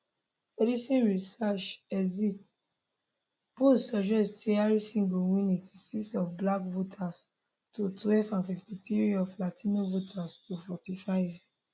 edison research exit polls suggest say harris go win 86 of black voters to twelve and 53 of latino voters to 45